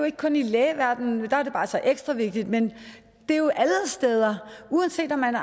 ikke kun i lægeverdenen der er det bare som ekstra vigtigt men det er jo alle steder at uanset om man